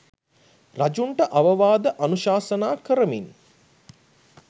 රජුන්ට අවවාද අනුශාසනා කරමින්